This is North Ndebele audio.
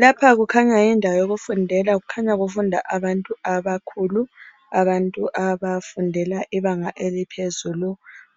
Lapha kukhanya yindawo yokufundela kukhanya kufunda abantu abakhulu abantu abafundela ibanga eliphezulu